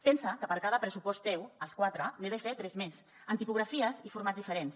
pensa que per cada pressupost teu els quatre n’he de fer tres més amb tipografies i formats diferents